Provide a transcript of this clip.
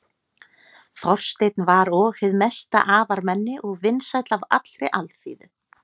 þorsteinn var og hið mesta afarmenni og vinsæll af allri alþýðu